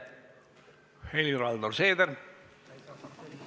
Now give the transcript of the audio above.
Helir-Valdor Seeder!